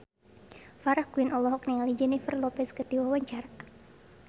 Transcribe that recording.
Farah Quinn olohok ningali Jennifer Lopez keur diwawancara